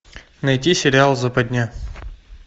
найти сериал западня